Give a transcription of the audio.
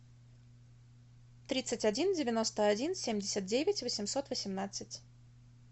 тридцать один девяносто один семьдесят девять восемьсот восемнадцать